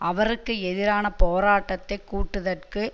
அவருக்கு எதிரான போராட்டத்தை கூட்டுதற்கு